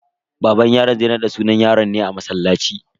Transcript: Baban yaron zai raɗa sunan yaron ne a masallaci.